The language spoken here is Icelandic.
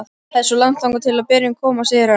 Það er svo langt þangað til berin koma, segir hann.